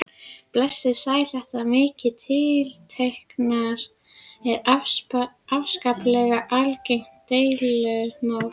Blessuð og sæl, þetta með tiltektirnar er afskaplega algengt deilumál.